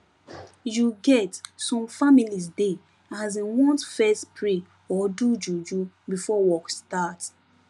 you get some families dey asin want fess pray or do juju before work start